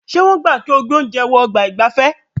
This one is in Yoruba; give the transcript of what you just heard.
Ṣé wọ́n gbà kí o gbé oúnjẹ wọ ọ̀gbà ìgbafẹ́?